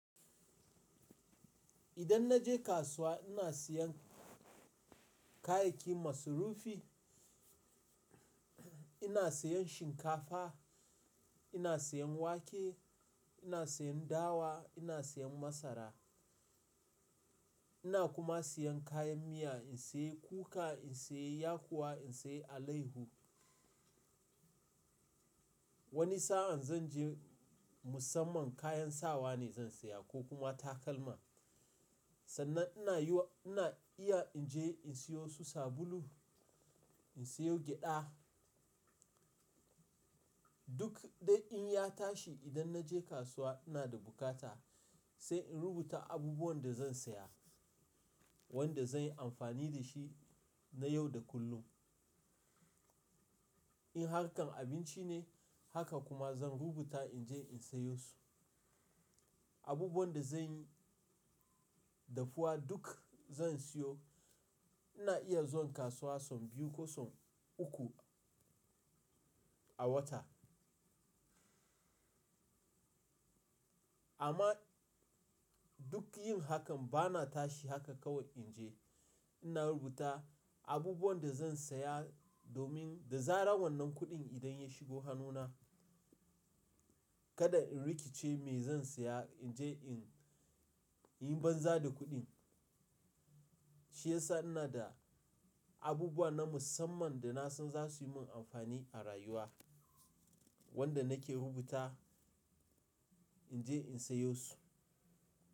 Idan na je kasuwa ina siyan kayayyaki maslufi, ina siyan shinkafa, ina siyan wake, ina siyan dawa, ina siyan masara, ina kuma siyan kayan miya in sayi kuka, in sayi yakuwa, in sayi alaihu. Wani sa'an zan je musamman kayan sawa ne zan saya ko kuma takalma. Sannan ina iya in je in siyo su sabulu, in sayo gyada. Duk dai in ya tashi idan na je kasuwa ina da bukata sai in rubuta abubuwan da zan saye, wanda zan yi amfani da shi na yau da kullum. In harkan abinci ne haka kuma zan rubuta in je in sayo su. Abubuwan da zan yi dafuwa duk zan siyo. Ina iya zuwa kasuwa son biyu ko son uku a wata. Amma duk yin hakan bana tashi haka kawai in je. Ina rubuta abubuwan da zan saya domin da zarar wannan kuɗin idan ya shigo hannuna kada in rikice me zan saya in je in yi banza da kuɗin. Shi yasa ina da abubuwa na musamman da na san za su yi min amfani a rayuwa wanda nake rubuta in je in sayo su.